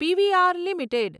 PVR limited